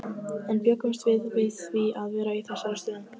En bjuggumst við við því að vera í þessari stöðu?